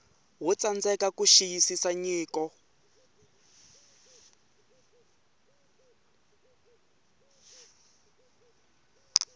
wo tsandzeka ku xiyisisa nyiko